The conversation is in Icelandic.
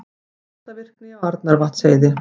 Skjálftavirkni á Arnarvatnsheiði